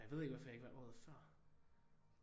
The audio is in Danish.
Og jeg ved ikke hvorfor jeg ikke var der året før